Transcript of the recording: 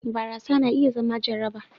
barasa na iya zama jaraba